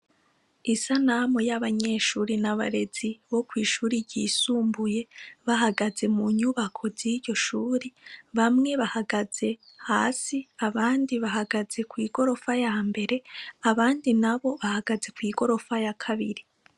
Isanamu y'abanyeshuri n' abarezi bokwishuri ryisumbuye bahagaze munyubako ziryo shuri bamwe bahagaze hasi abandi bahagaze kwigorofa yambere abandi nabo bahagaze kwigorofa yakabiri.